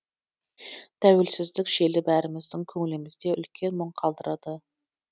тәуелсіздік желі бәріміздің көңілімізде үлкен мұң қалдырады